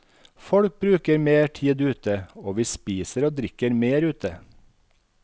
Folk bruker mer tid ute, og vi spiser og drikker mer ute.